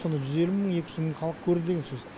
сонда жүз елу мың екі жүз мың халық көрді деген сөз